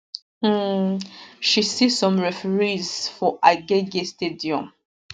um she see some referees for agege stadium